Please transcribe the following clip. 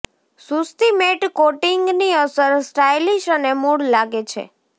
સુસ્તી matte કોટિંગની અસર stylish અને મૂળ લાગે છે